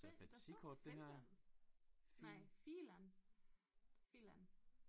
Find der står Finland nej filan filan